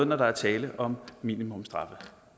når der er tale om minimumsstraffe